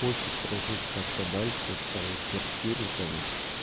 хочет прожить как-то дальше оставить квартиру там